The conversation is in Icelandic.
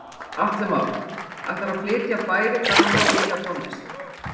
Atli Már: Ætlarðu að flytja bæði gamla og nýja tónlist?